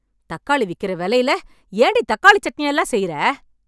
தக்காளி விக்கிற வெலையில, ஏண்டி தக்காளி சட்னியெல்லாம் செய்ற..